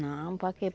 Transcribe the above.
Não, para quê?